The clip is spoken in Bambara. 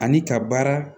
Ani ka baara